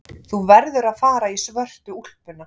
Þú verður að fara í svörtu úlpuna.